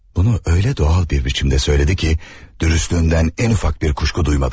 Bunu elə doğal bir biçimdə söylədi ki, dürüstlüğündən ən ufacık bir kuşku duymadım.